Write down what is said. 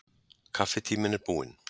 Kaffitíminn er búinn.